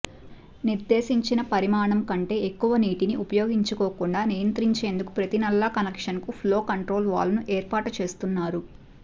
నిర్దేశించిన పరిమాణం కంటే ఎక్కువ నీటిని ఉపయోగించుకోకుండా నియంత్రించేందుకు ప్రతి నల్లా కనెక్షన్కు ఫ్లో కంట్రోల్ వాల్వ్ను ఏర్పాటు చేస్తున్నారు